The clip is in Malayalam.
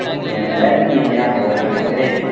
എന്താ ചെയ്യാ ഓരോരുത്തരെ